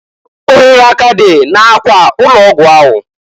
Ohere ọ k'adị na- akwa ụlọ ọgwụ ahụ?